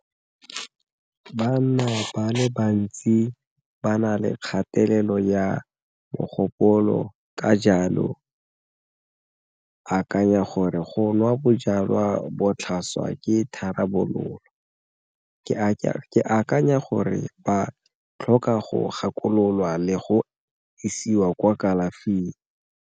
Banna ba le bantsi ba na le kgatelelo ya mogopolo, ka jalo akanya gore go nwa jalwa botlhaswa ke tharabololo. Ka ke akanya gore ba tlhoka go gakololwa le go isiwa kwa kalafing.